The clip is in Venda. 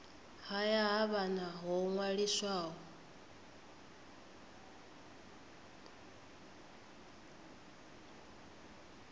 haya ha vhana ho ṅwaliswaho